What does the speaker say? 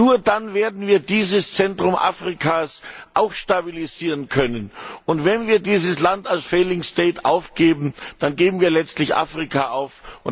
Nur dann werden wir dieses Zentrum Afrikas auch stabilisieren können. Und wenn wir dieses Land als failing state aufgeben, dann geben wir letztlich Afrika auf.